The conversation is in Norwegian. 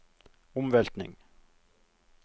omveltning